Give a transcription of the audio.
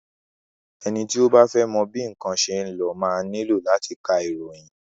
Ẹni tí o bá fẹ́ mọ bí nnkan ṣe ń lọ máa nílò láti ka ìròyìn.